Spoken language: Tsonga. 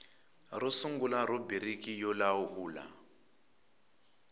ro sungula rhubiriki yo lawula